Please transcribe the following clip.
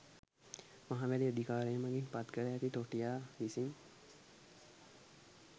මහවැලි අධිකාරිය මගින් පත්කර ඇති තොටියා විසින්